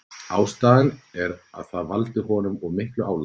Ástæðan er að það valdi honum of miklu álagi.